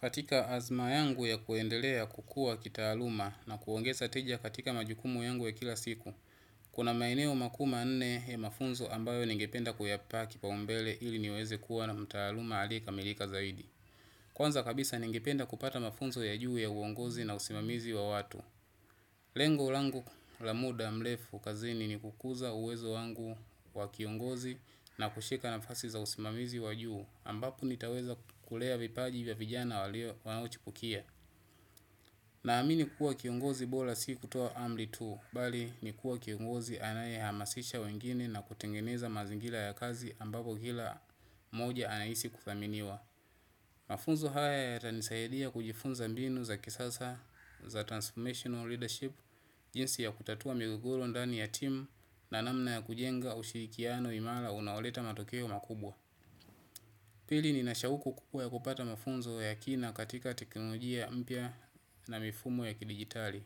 Katika azma yangu ya kuendelea kukua kitaaluma na kuongeza tija katika majukumu yangu ya kila siku, kuna maeneo makuu ma nne ya mafunzo ambayo ningependa kuyapaa kipa umbele ili niweze kuwa na mtaaluma aliyeka milika zaidi. Kwanza kabisa ningependa kupata mafunzo ya juu ya uongozi na usimamizi wa watu. Lengo langu la muda mlefu kazini ni kukuza uwezo wangu wa kiongozi na kushika na fasi za usimamizi wajuu ambapo nitaweza kulea vipaji vya vijana wanauchipukia. Na amini kukua kiongozi bora si kutuo amri tuu, bali ni kuwa kiongozi anaye hamasisha wengine na kutengeneza mazingira ya kazi ambapo kila moja anaisi kuthaminiwa. Mafunzo haya ya tanisayidia kujifunza mbinu za kisasa za transformational leadership, jinsi ya kutatua migogoro ndani ya team na namna ya kujenga ushirikiano imala unaoleta matokeo makubwa. Pili ni nashauku kubwa kupata mafunzo ya kina katika teknolojia mpya na mifumo ya kidigitali.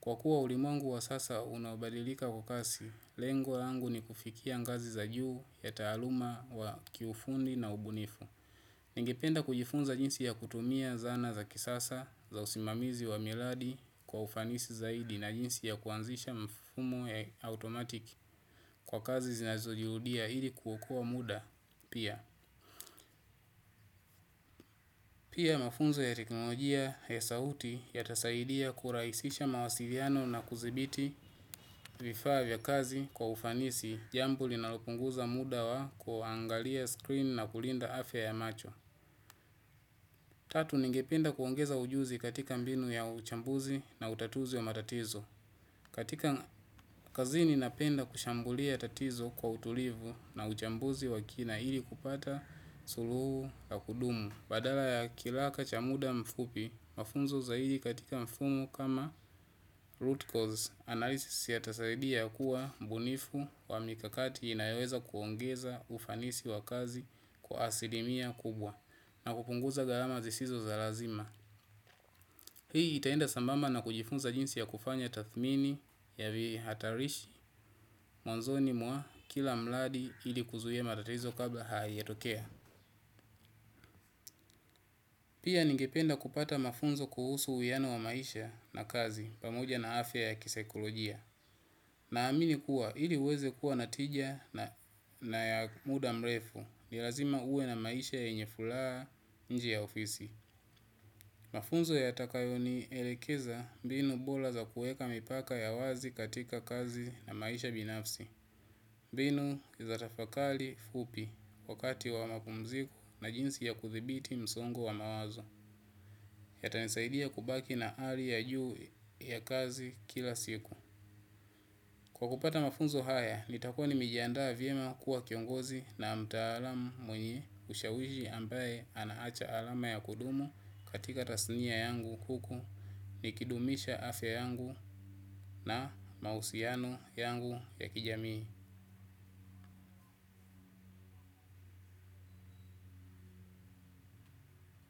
Kwa kuwa ulimwengu wa sasa unaobadilika kwa kasi, lengo langu ni kufikia ngazi za juu ya taaluma wa kiufundi na ubunifu. Ningependa kujifunza jinsi ya kutumia zana za kisasa za usimamizi wa miradi kwa ufanisi zaidi na jinsi ya kuanzisha mfumo ya automatic kwa kazi zinazojirudia ili kuokoa mda pia. Pia mafunzo ya teknolojia ya sauti ya tasaidia kuraisisha mawasiliano na kuzibiti vifaa za kazi kwa ufanisi jambo linalopunguza mda wa kuangalia screen nakulinda afya ya macho tatu. Ningependa kuongeza ujuzi katika mbinu ya uchambuzi na utatuzi wa matatizo. Katika kazini napenda kushambulia tatizo kwa utulivu na uchambuzi wakina ili kupata suluhu ya kudumu. Badala ya kilaka cha muda mfupi, mafunzo zaidi katika mfumu kama root cause analysis ya tasaidia kuwa mbunifu wa mikakati inayoweza kuongeza ufanisi wa kazi kwa asilimia kubwa na kupunguza garama zisizo za lazima. Hii itaenda sambamba na kujifunza jinsi ya kufanya tathmini ya vi hatarishi mwanzoni mwa kila mladi ili kuzuia matatizo kabla haiyajatokea. Pia ningependa kupata mafunzo kuhusu uwiano wa maisha na kazi pamoja na afya ya kisekolojia. Na amini kuwa ili uweze kuwa natija na ya muda mrefu ni lazima uwe na maisha yenye furaha nje ya ofisi. Mafunzo ya takayoni elekeza mbinu bola za kueka mipaka ya wazi katika kazi na maisha binafsi. Mbinu kizatafakali fupi wakati wa mapumziku na jinsi ya kuthibiti msongo wa mawazo. Yata nisaidia kubaki na hali ya juu ya kazi kila siku. Kwa kupata mafunzo haya, nitakuwa ni mejiandaa vyema kuwa kiongozi na mtaalam mwenye ushawishi ambaye anaacha alama ya kudumu katika tasnia yangu kuku. Nikidumisha afya yangu na mahusiano yangu ya kijamii.